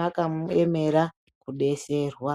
makaemera kudeserwa.